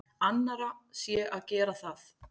Annarra sé að gera það.